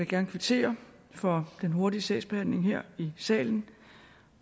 gerne kvittere for den hurtige sagsbehandling her i salen